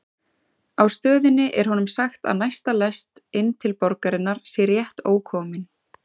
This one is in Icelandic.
Á stöðinni er honum sagt að næsta lest inn til borgarinnar sé rétt ókomin.